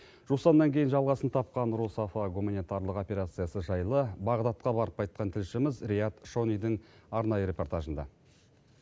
жусаннан кейін жалғасын тапқан русафа гуманитарлық операциясы жайлы бағдатқа барып қайтқан тілшіміз риат шонидің арнайы репортажында